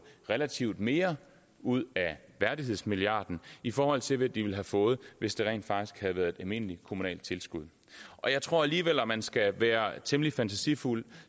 relativt mere ud af værdighedsmilliarden i forhold til hvad de ville have fået hvis det rent faktisk havde været et almindeligt kommunalt tilskud jeg tror alligevel at man skal være temmelig fantasifuld